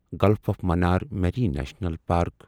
golf of Mannar marine national park